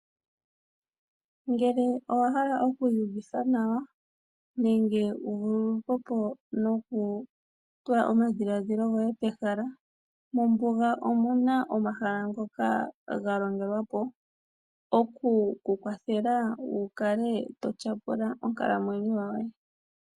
Ngele owahala okwiiyuvitha nawa nenge wuvulukwepo nokutula omadhiladhilo goye pehala, mombuga omuna omahala ngoka galongelwapo, okukukwathela wukale totyapula onkalamwenyo yoye.